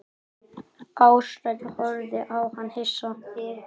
Ársæll horfði á hann hissa.